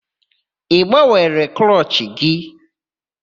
Ị gbanwere klọchị gị?